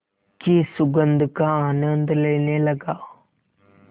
की सुगंध का आनंद लेने लगा